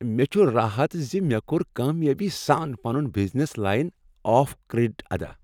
مےٚ چُھ راحت ز مےٚ کوٚر کامیٲبی سان پنن بزنس لائن آف کریڈٹ ادا۔